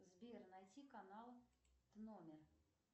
сбер найти канал номер